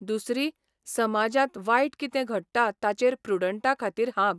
दुसरी समाजांत वायट कितें घडटा ताचेर प्रुडंटा खातीर हांब